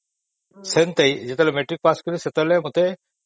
ଯେତେବଳେ matric pass କଲି ସେତେବେଳେ ମତେ..